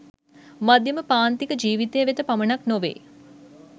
මධ්‍යම පාන්තික ජීවිතය වෙත පමණක් නොවේ.